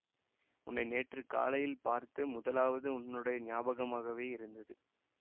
உன்னை நேற்று காலையில் பார்த்து முதலாவது உன்னுடைய ஞாபகமாகவே இருந்தது